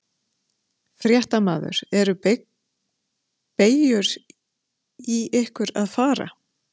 Fréttamaður: Er beygur í ykkur að fara?